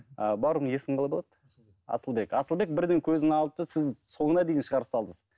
а бауырым есімің қалай болады асылбек асылбек бірден көзін алды да сіз соңына дейін шығарып салдыңыз